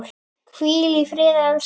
Hvíl í friði, elskan mín.